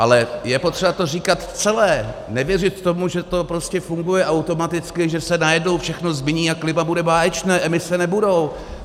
Ale je potřeba to říkat celé, nevěřit tomu, že to prostě funguje automaticky, že se najednou všechno změní a klima bude báječné, emise nebudou.